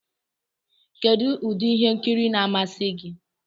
Kedụ ụdị ihe nkiri na-amasị gị?